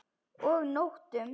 Og nóttum!